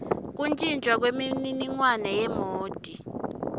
kuntjintjwa kwemininingwane yemoti